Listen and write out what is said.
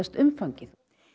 umfangið